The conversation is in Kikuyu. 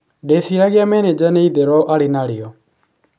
Ndeciragia menenja nĩ itheru arĩ narĩo.